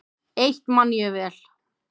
Eitt man ég vel.